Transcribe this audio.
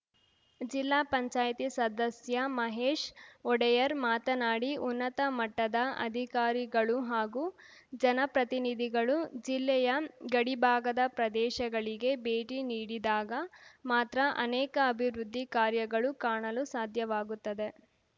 ಜಿಲ್ಲಾ ಪಂಚಾಯತ್ ಸದಸ್ಯ ಮಹೇಶ್‌ ಒಡೆಯರ್‌ ಮಾತನಾಡಿ ಉನ್ನತ ಮಟ್ಟದ ಅಧಿಕಾರಿಗಳು ಹಾಗೂ ಜನಪ್ರತಿನಿಧಿಗಳು ಜಿಲ್ಲೆಯ ಗಡಿಭಾಗದ ಪ್ರದೇಶಗಳಿಗೆ ಭೇಟಿ ನೀಡಿದಾಗ ಮಾತ್ರ ಅನೇಕ ಅಭಿವೃದ್ಧಿ ಕಾರ್ಯಗಳು ಕಾಣಲು ಸಾಧ್ಯವಾಗುತ್ತದೆ